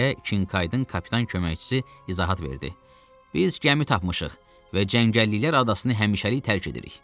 deyə Kinkaydın kapitan köməkçisi izahat verdi. Biz gəmi tapmışıq və Cəngəlliklərin adasını həmişəlik tərk eləyirik.